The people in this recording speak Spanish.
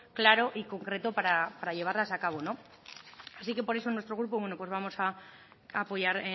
claro y concreto para llevarlas a cabo así por eso nuestro grupo bueno pues vamos a apoyar